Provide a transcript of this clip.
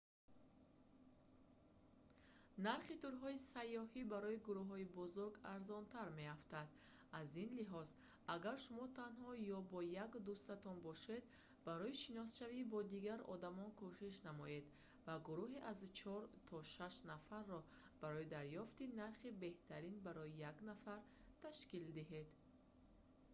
нархи турҳои сайёҳӣ барои гурӯҳҳои бузург арзонтар меафтанд аз ин лиҳоз агар шумо танҳо ё бо як дӯстатон бошед барои шиносшавӣ бо дигар одамон кӯшиш намоед ва гурӯҳи аз чор то шаш нафарро барои дарёфти нархи беҳтарин барои як нафар ташкил диҳед